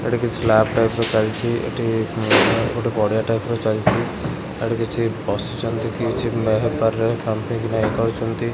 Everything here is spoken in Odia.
ଏଠି କିଛି ସ୍ଲାବ ଟାଇପ୍ ର ଚାଲିଚି। ଏଠି ହୁଁ ଗୋଟେ ଗଡି଼ଆ ଟାଇପ୍ ର ଚାଲିଚି। ଏଠି କିଛି ବସିଛନ୍ତି କିଛି ହେ ପାରିରେ। ଇଏ କରୁଛନ୍ତି।